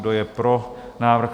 Kdo je pro návrh?